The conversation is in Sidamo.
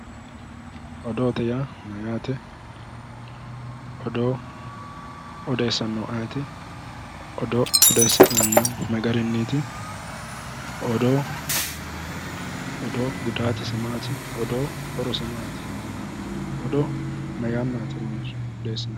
Odoote yaa mayyaate odoo odessannohu ayeeti odoo odessinannihu ma garinniiti odoo gudaatisi maati odoo horosi maati odoo ma yannaati odeessinannihu